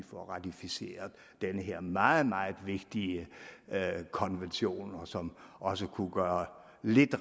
få ratificeret den her meget meget vigtige konvention som også kunne gøre lidt